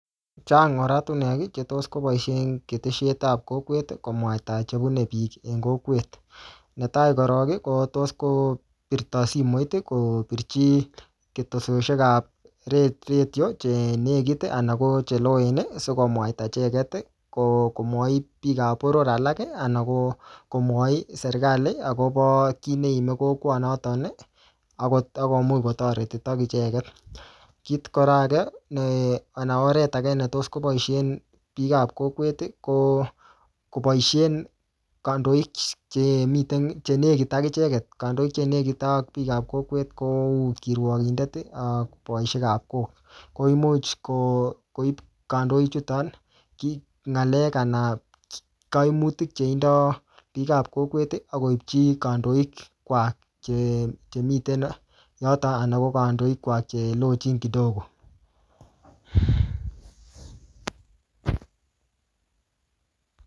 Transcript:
Chang oratunwek, che tos koboisie ketesiet ap kokwet, komwaita chebune bik en kokwet. Ne tai korok, ko tos kopirto simoit, kopirchi ketesioshek ap re-redio che nekit, anan che loen sikomwaita icheket ko komwachi biik ap boror alak, anan ko-komwochi serikali akobo kiy ne iimi kokwa notok, ako-akomuch kotoretitio icheket. Kit kora age, ne anan oret age ne tos koboisien biik ap kokwet, ko koboisien kandoik che miten, che nekit ak icheket. Kandoik che nekut ak biik ap kokwet kou kirwokindet ak boisiek ap kok. Ko imuch ko koip kandoik chuton ,kiy ng'alek anan kaimutik che indoi biik ap kokwet, akoipchi kandoik kwak che che miten yoton anan ko kandoik kwak che lochin kidogo